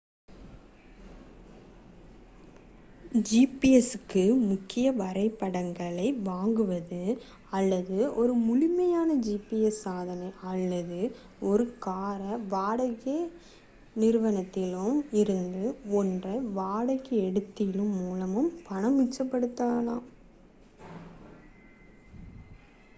gps-க்கு புதிய வரைபடங்களை வாங்குவது அல்லது ஒரு முழுமையான gps சாதனம் அல்லது ஒரு கார் வாடகை நிறுவனத்தில் இருந்து ஒன்றை வாடகைக்கு எடுத்தலின் மூலம் பணத்தை மிச்சப்படுத்தும்